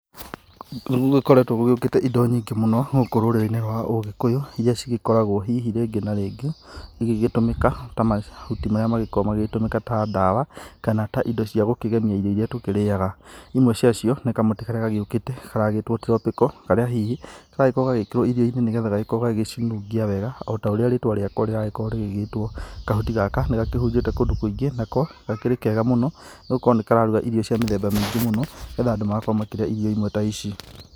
Nĩ gũgĩkoretwo gũgĩũkĩte indo nyingĩ mũno gũkũ rũrĩrĩi-inĩ rwa ũgĩkũyu iria cigĩkoragwo hihi rĩngĩ na rĩngĩ igĩtũmĩka ta mahuti marĩa makoragwo magĩtũmĩka ta ndawa kana ta indo ci gũkĩgemia irio iria tũkĩrĩaga. Imwe cia cio nĩ kamũtĩ karĩa gagĩũkĩte karetwo tropical, karĩa hihi karagĩkorwo gagĩkĩrwo irio-inĩ nĩ getha gagĩgĩkorwo gagĩcinungia wega o taũrĩa rĩtwa rĩako rĩragĩkorwo rĩgĩgĩtwo. Kahuti gaka nĩga kĩhunjĩte kũndũ kũingĩ nako gakĩrĩ kega mũno nĩ gũkorwo nĩ kararuga irio cia mĩthemba mĩingĩ mũno, nĩ getha andũ magakorwo makĩrĩa irio imwe ta ici.